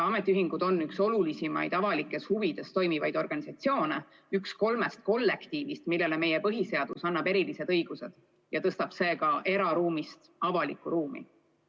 Ametiühingud on üks olulisimaid avalikes huvides tegutsevaid organisatsioone, üks kolmest kollektiivitüübist, millele meie põhiseadus annab erilised õigused, tõstes selle eraruumist avalikku ruumi.